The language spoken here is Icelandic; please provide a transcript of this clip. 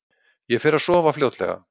Ég fer að sofa fljótlega.